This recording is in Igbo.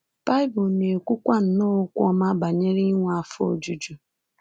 Baịbụl na-ekwukwa nnọọ okwu ọma banyere inwe afọ ojuju.